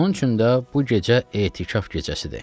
Onun üçün də bu gecə etiqaf gecəsidir.